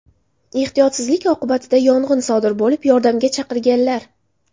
Ehtiyotsizlik oqibatida yong‘in sodir bo‘lib, yordamga chaqirganlar.